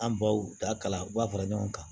An baw ta kala u b'a fara ɲɔgɔn kan